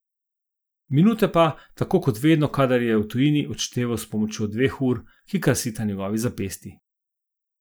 Minute pa, tako kot vedno, kadar je v tujini, odšteval s pomočjo dveh ur, ki krasita njegovi zapestji.